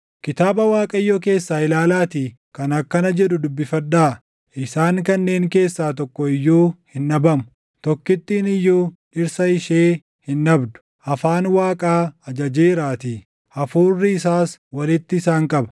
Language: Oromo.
Kitaaba Waaqayyoo keessaa ilaalaatii kan akkana jedhu dubbifadhaa: Isaan kanneen keessaa tokko iyyuu hin dhabamu; tokkittiin iyyuu dhirsa ishee hin dhabdu. Afaan Waaqaa ajajeeraatii; Hafuurri isaas walitti isaan qaba.